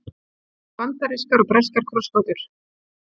bandarískar og breskar krossgátur